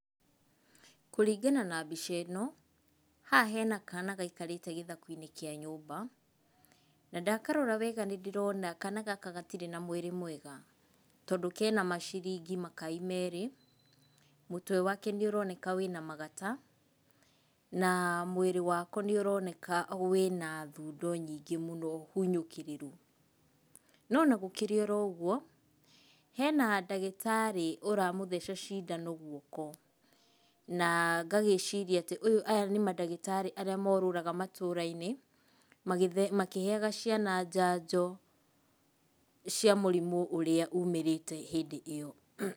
Kũringana na mbica-ino haha hena kana gaikarĩte gĩthaku-inĩ kĩa nyũmba, na ndakarora wega nĩ ndĩrona kana gaka gatirĩ na mwĩrĩ mwega. Tondũ kena maciringi makai merĩ, mũtwe wake nĩũroneka wĩna magata, na mwĩrĩ wako nĩũroneka wĩna thundo nyingĩ mũno hunyũkĩrĩru. No ona gũkĩrĩ o ũguo hena ndagĩtarĩ ũramũtheca cindano guoko na ngagĩciria atĩ aya nĩ mandagĩtarĩ arĩa morũraga matũra-inĩ makĩheaga ciana njanjo cia mũrimũ ũrĩa umĩrĩte hĩndĩ ĩo.